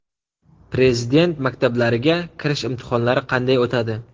Prezident maktablariga kirish imtihonlari qanday o‘tadi?